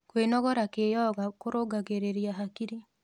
Kwenogora kĩyoga kũrũngagĩrĩrĩa hakĩrĩ